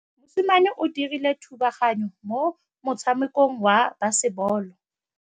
Mosimane o dirile thubaganyô mo motshamekong wa basebôlô.